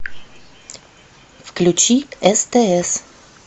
включи стс